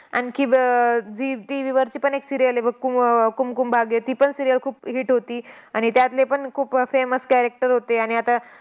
आणखी ब zee TV वरची पण एक serial आहे बघ कु कुमकुम भाग्य. तीपण serial खूप hit होती. आणि त्यातले पण खूप famous character होते. आणि आता